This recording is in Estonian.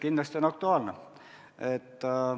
Kindlasti on see aktuaalne.